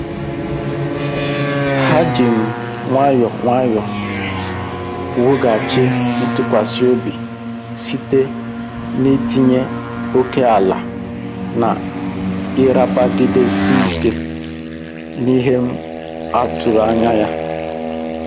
Ha ji um nwayọọ nwayọọ wughachi ntụkwasị obi site n'itinye ókèala na ịrapagidesi ike n'ihe um a tụrụ anya ya.